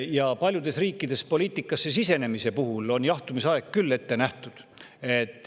Ja paljudes riikides on poliitikasse sisenemise puhul jahtumisaeg ette nähtud.